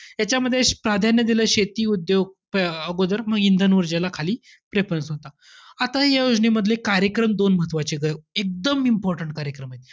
त्याच्यामध्ये प्राधान्य दिलं शेती उद्योग अं अगोदर म इंधन व उर्जेला खाली preference होता. आता या योजनेमधले कार्यक्रम दोन म्हत्वाचेंय. एकदम important कार्यक्रम आहेत.